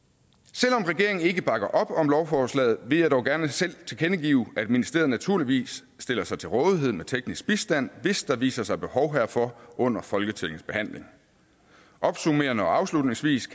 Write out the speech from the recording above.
selv om regeringen ikke bakker op om lovforslaget vil jeg dog gerne tilkendegive at ministeriet naturligvis stiller sig til rådighed med teknisk bistand hvis der viser sig behov herfor under folketingets behandling opsummerende og afslutningsvis